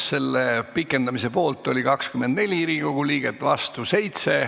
Selle pikendamise poolt oli 24 Riigikogu liiget, vastu 7.